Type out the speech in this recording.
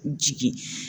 Jigi